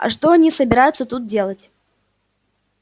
а что они собираются тут делать